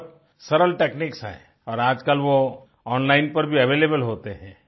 बहुत सरल टेकनिक्स हैं और आजकल वो ओनलाइन पर भी अवेलेबल होते हैं